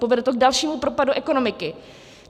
Povede to k dalšímu propadu ekonomiky.